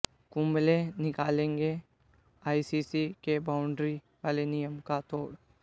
कुंबले निकालेंगें आईसीसी के बाउंड्री वाले नियम का तोड़